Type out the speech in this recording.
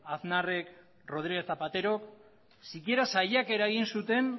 aznarrek eta rodríguez zapaterok sikiera saiakera egin zuten